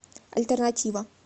альтернатива